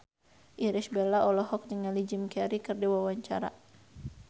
Irish Bella olohok ningali Jim Carey keur diwawancara